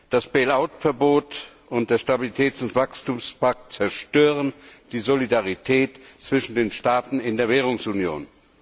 Das Bailout Verbot und der Stabilitäts und Wachstumspakt zerstören die Solidarität zwischen den Staaten in der Währungsunion.